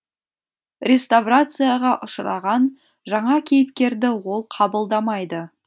реставрацияға ұшыраған жаңа кейіпкерді ол қабылдамайды